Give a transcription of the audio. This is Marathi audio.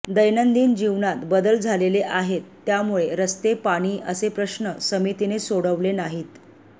दैनंदिन जीवनात बदल झालेले आहेत त्यामुळे रस्ते पाणी असे प्रश्न समितीने सोडवले नाहीत